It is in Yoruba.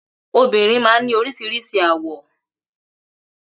Obìrin man ní orísirísi àwọ̀